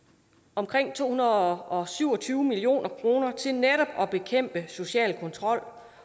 omkring to hundrede og syv og tyve million kroner til netop at bekæmpe social kontrol